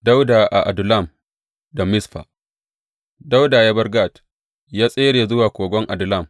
Dawuda a Adullam da Mizfa Dawuda ya bar Gat, ya tsere zuwa kogon Adullam.